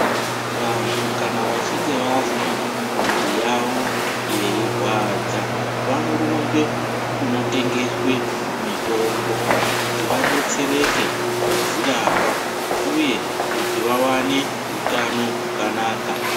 Vantu kana vachinge vazwa mwiri yavo yeirwadza vanorumbe kunotengeswe mitombo kuti vadetsereke kudzirapa uye kuti vawane utano hwakanaka.